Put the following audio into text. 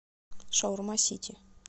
шаурма сити